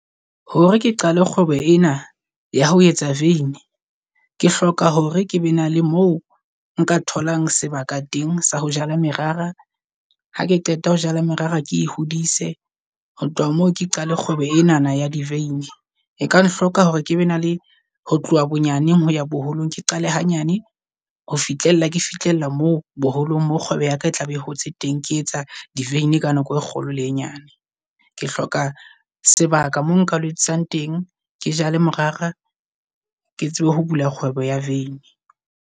Hore ke qale kgwebo ena ya ho etsa vein, ke hloka hore ke be na le mo nka tholang sebaka teng sa ho jala merara ha ke qeta ho jala merara ke e hodise. Ho tloha moo ke qale kgwebo enana ya di vein e ka nhloka hore ke be na le ho tloha bonyane ho ya boholong. Ke qale hanyane ho fihlella ke fihlella mo boholong, mo kgwebo yaka e tlabe e hotse teng. Ke etsa di vein ka nako e kgolo le e nyane. Ke hloka sebaka moo nka o etsang teng, ke jale morara ke tsebe ho bula kgwebo ya vein.